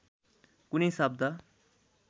कुनै शब्द